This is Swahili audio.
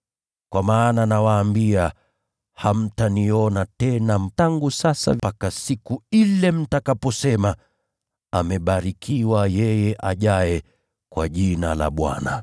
Kwa maana nawaambia, hamtaniona tena tangu sasa mpaka mtakaposema, ‘Amebarikiwa yeye ajaye kwa Jina la Bwana.’ ”